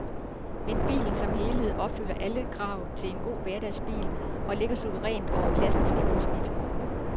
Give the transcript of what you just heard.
Men bilen som helhed opfylder alle krav til en god hverdagsbil og ligger suverænt over klassens gennemsnit.